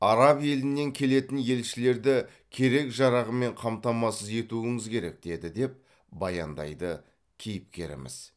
араб елінен келетін елшілерді керек жарағымен қамтамасыз етуіңіз керек деді деп баяндайды кейіпкеріміз